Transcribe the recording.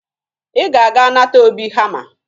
Ị ga-aga nata Obi hama